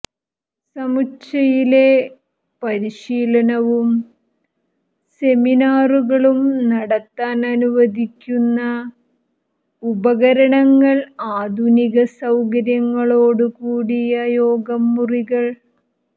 സമുച്ചയിലെ പരിശീലനവും സെമിനാറുകളും നടത്താൻ അനുവദിക്കുന്ന ഉപകരണങ്ങൾ ആധുനിക സൌകര്യങ്ങളോട് കൂടിയ യോഗം മുറികൾ